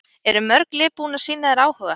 Eru mörg lið búin að sýna þér áhuga?